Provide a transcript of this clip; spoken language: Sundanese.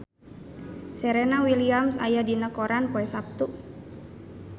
Serena Williams aya dina koran poe Saptu